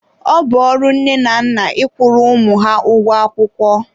ọ bụ ọrụ nne na nna ị kwụrụ ụmụ ha ụgwọ akwụkwọ.